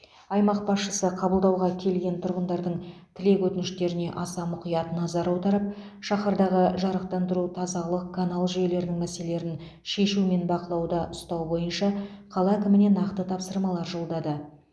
аймақ басшысы қабылдауға келген тұрғындардың тілек өтініштеріне аса мұқият назар аударып шаһардағы жарықтандыру тазалық канал жүйелерінің мәселелерін шешу мен бақылауда ұстау бойынша қала әкіміне нақты тапсырмалар жолдады